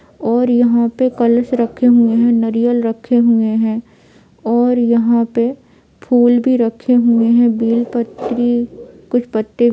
और यहां पे कलस रखे हुए हैं नरियल रखे हुए है और यहां पे फुल भी रखे हुए हैं बेल पत्र कुछ पत्ते--